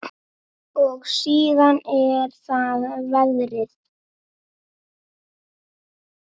Og síðan er það veðrið.